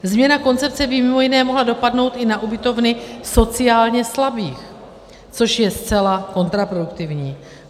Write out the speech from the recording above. Změna koncepce by mimo jiné mohla dopadnout i na ubytovny sociálně slabých, což je zcela kontraproduktivní.